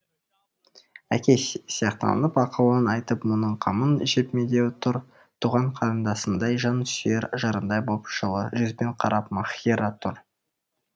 әке сияқтанып ақылын айтып мұның қамын жеп медеу тұр туған қарындасындай жан сүйер жарындай боп жылы жүзбен қарап маһира тұр